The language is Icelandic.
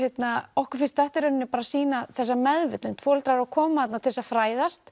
okkur finnst þetta í rauninni bara sýna þessa meðvitund foreldrar eru að koma þarna til þess að fræðast